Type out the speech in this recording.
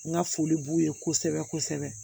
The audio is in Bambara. N ka foli b'u ye kosɛbɛ kosɛbɛ